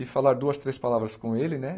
E falar duas, três palavras com ele, né?